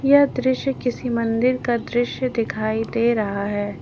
यह दृश्य किसी मंदिर का दृश्य दिखाई दे रहा है।